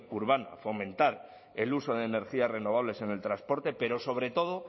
urbana fomentar el uso de energías renovables en el transporte pero sobre todo